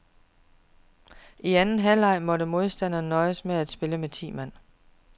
I anden halvleg måtte modstanderne nøjes med at spille med ti mand.